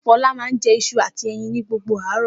Fọlá máa ń jẹ iṣu àti ẹyin ni gbogbo àárọ̀.